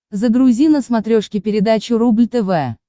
загрузи на смотрешке передачу рубль тв